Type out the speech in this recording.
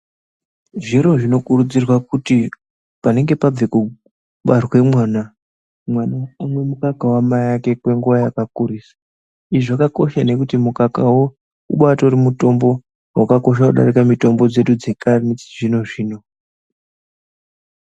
Zviro zvinokurudzirwa kuti panenge pabve kubarwe mwana mwana omwe mukaka wamaake kwenguwa yakakurisa izvi zvakakosha nekuti mukakawo ubatori mutombo wakakosha kudarika mitombo dzedu dzekare nechizvinozvino